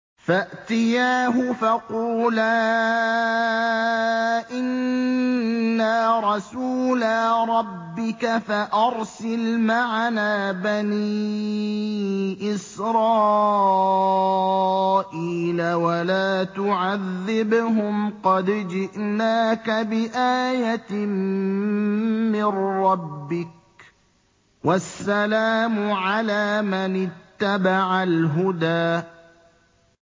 فَأْتِيَاهُ فَقُولَا إِنَّا رَسُولَا رَبِّكَ فَأَرْسِلْ مَعَنَا بَنِي إِسْرَائِيلَ وَلَا تُعَذِّبْهُمْ ۖ قَدْ جِئْنَاكَ بِآيَةٍ مِّن رَّبِّكَ ۖ وَالسَّلَامُ عَلَىٰ مَنِ اتَّبَعَ الْهُدَىٰ